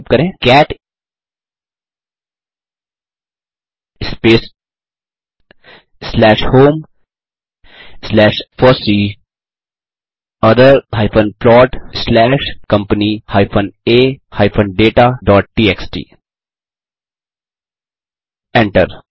type करें cat space slash home slash fossee backslash other plot slash company a dataटीएक्सटी enter